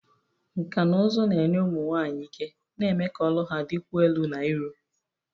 Nkà na ụzụ na-enye ụmụ nwanyị ike, na-eme ka olu ha dịkwuo elu na iru.